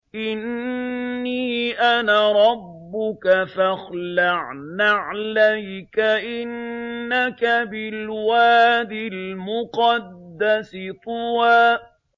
إِنِّي أَنَا رَبُّكَ فَاخْلَعْ نَعْلَيْكَ ۖ إِنَّكَ بِالْوَادِ الْمُقَدَّسِ طُوًى